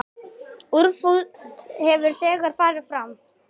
Útför hefur þegar farið fram.